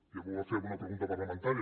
ja m’ho va fer en una pregunta parlamentària